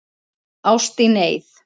Ást í neyð